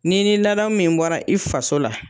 Ni ni ladamu min bɔra i faso la